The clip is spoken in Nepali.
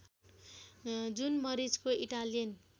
जुन मरिचको इटालियन